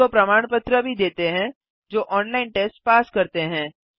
उनको प्रमाण पत्र भी देते हैं जो ऑनलाइन टेस्ट पास करते हैं